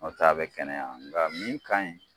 N'o tɛ a bɛ kɛnɛya nga min ka ɲi